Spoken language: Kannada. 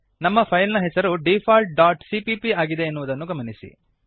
ನಮ್ಮ ಫೈಲ್ ನ ಹೆಸರು ಡಿಫಾಲ್ಟ್ ಡಾಟ್ ಸಿಪಿಪಿ ಆಗಿದೆ ಎನ್ನುವುದನ್ನು ಗಮನಿಸಿರಿ